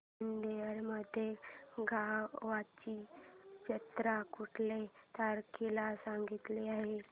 कालनिर्णय मध्ये गावाची जत्रा कुठल्या तारखेला सांगितली आहे